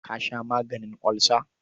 Ka sha maganin olsa.